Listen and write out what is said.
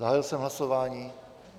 Zahájil jsem hlasování.